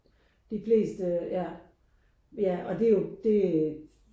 De fleste ja ja og det er jo det